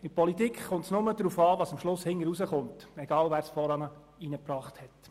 In der Politik kommt es nur darauf an, was am Ende resultiert, egal wer was eingebracht hat.